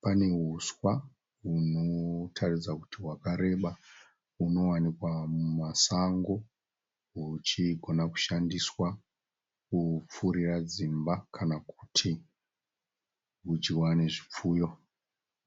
Pane huswa hunotaridza kuti hwakareba. Hunowanikwa mumasango huchigona kushandiswa kupfurira dzimba kana kuti kudyiwa nezvipfuyo.